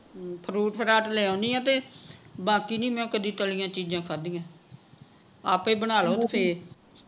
ਹਮ fruit ਫਰਾਟ ਲੈ ਆਉਣੀ ਆ ਤੇ ਬਾਕੀ ਨਹੀਂ ਮੈਂ ਕਦੇ ਤਲੀਆਂ ਚੀਜਾਂ ਖਾਦੀਆਂ ਆਪੇ ਬਣਾ ਲੋ ਤੁਸੀਂ ਇਹ